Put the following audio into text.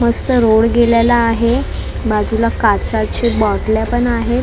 मस्त रोड गेलेला आहे बाजूला काचाची बॉटल्या पण आहेत.